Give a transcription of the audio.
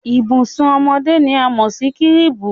Ìbùsùn ọmọdé ni a mọ̀ sí kírìbù.